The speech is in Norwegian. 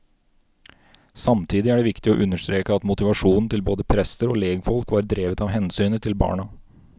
Samtidig er det viktig å understreke at motivasjonen til både prester og legfolk var drevet av hensynet til barna.